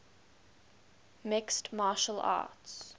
mixed martial arts